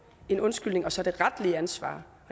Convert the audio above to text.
en undskyldning og så det retlige ansvar